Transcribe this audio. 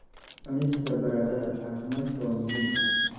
Cunista baradhada caafimaadka waa muhiim.